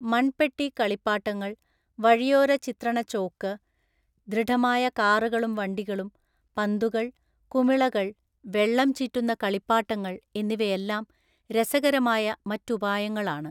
മണ്‍പെട്ടി കളിപ്പാട്ടങ്ങൾ, വഴിയോര ചിത്രണ ചോക്ക്, ദൃഢമായ കാറുകളും വണ്ടികളും, പന്തുകൾ, കുമിളകൾ, വെള്ളം ചീറ്റുന്ന കളിപ്പാട്ടങ്ങൾ എന്നിവയെല്ലാം രസകരമായ മറ്റുപായങ്ങളാണ് .